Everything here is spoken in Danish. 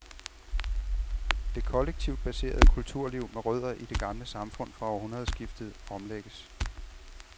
Det kollektivt baserede kulturliv med rødder i det gamle samfund fra århundredskiftet omlægges.